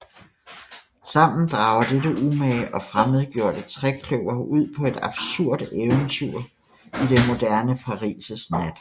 Sammen drager dette umage og fremmedgjordte trekløver ud på et absurd eventyr i det moderne Paris nat